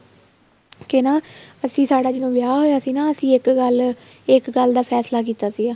ਕੇ ਨਾ ਅਸੀਂ ਸਾਡਾ ਜਦੋਂ ਵਿਆਹ ਹੋਇਆ ਸੀ ਨਾ ਅਸੀਂ ਇੱਕ ਗੱਲ ਇੱਕ ਗੱਲ ਦਾ ਫ਼ੈਸਲਾ ਕੀਤਾ ਸੀ